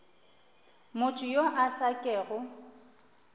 motho yo a sa kego